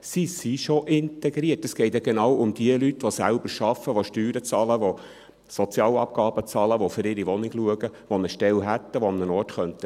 Sie sind schon integriert, es geht ja genau um die Personen, die selbst arbeiten, Steuern bezahlen, Sozialabgaben bezahlen, die für ihre Wohnung schauen, die eine Stelle hätten, die an einem Ort bleiben könnten.